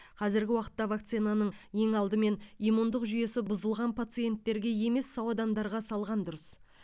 қазіргі уақытта вакцинаны ең алдымен иммундық жүйесі бұзылған пациенттерге емес сау адамдарға салған дұрыс